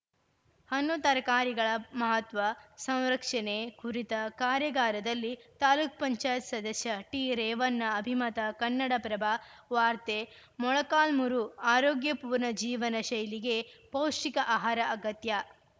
ಹಣ್ಣುತರಕಾರಿಗಳ ಮಹತ್ವ ಸಂರಕ್ಷಣೆ ಕುರಿತ ಕಾರ್ಯಾಗಾರದಲ್ಲಿ ತಾಲೂಕ್ ಪಂಚಾಯತ್ ಸದಸ್ಯ ಟಿರೇವಣ್ಣ ಅಭಿಮತ ಕನ್ನಡಪ್ರಭ ವಾರ್ತೆ ಮೊಳಕಾಲ್ಮುರು ಆರೋಗ್ಯ ಪೂರ್ಣ ಜೀವನ ಶೈಲಿಗೆ ಪೌಷ್ಟಿಕ ಆಹಾರ ಅಗತ್ಯ